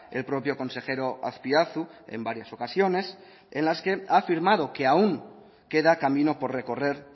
el propio consejero azpiazu en varias ocasiones en las que ha afirmado que aún queda camino por recorrer